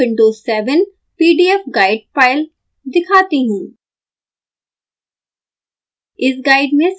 मैं आपको windows 7 pdf guide file दिखाती हूँ